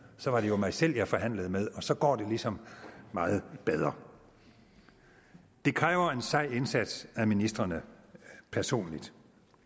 så var det jo mig selv jeg forhandlede med og så går det ligesom meget bedre det kræver en sej indsats af ministrene personligt